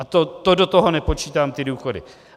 A to do toho nepočítám ty důchody.